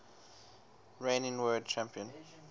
reigning world champion